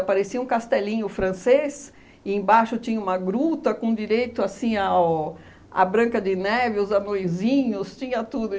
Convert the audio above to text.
parecia um castelinho francês e embaixo tinha uma gruta com direito assim ao a branca de neve, os anõezinhos, tinha tudo.